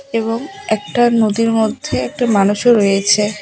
এবং একটা নদীর মধ্যে একটা মানুষও রয়েছে।